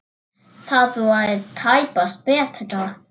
Það verður tæpast betra.